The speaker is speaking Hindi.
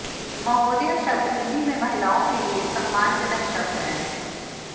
महोदया शब्द हिन्दी में महिलाओँ के लिए सम्मानजनक शब्द है